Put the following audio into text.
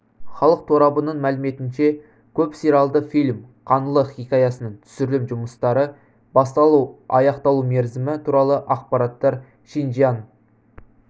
халық торабының мәліметінше көп сериялды фильм қаңлы хикаясының түсірілім жұмыстары басталу аяқталу мерзімі туралы ақпараттар шинжияң